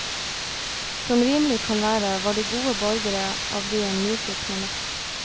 Som rimelig kan være, var de gode borgere av byen nyfikne nok.